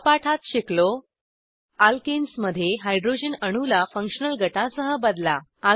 या पाठात शिकलो अल्केन्स मध्ये हायड्रॉजन अणूला फंक्शनल गटासह बदला